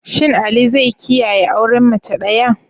Shin Ali zai kiyaye auren mace daya?